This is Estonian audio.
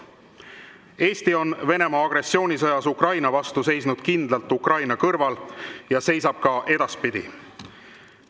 Eesti on Venemaa agressioonisõjas Ukraina vastu seisnud kindlalt Ukraina kõrval ja seisab ka edaspidi.